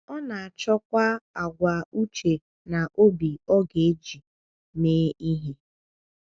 Ọ na-achọkwa àgwà uche na obi ọ ga-eji mee ihe.